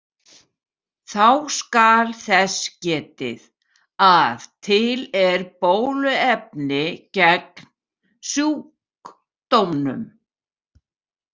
Þá skal þess getið að til er bóluefni gegn sjúkdómnum.